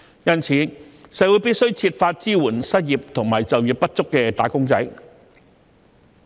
因此，社會必須設法支援失業及就業不足的"打工仔"。